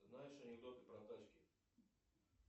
знаешь анекдоты про тачки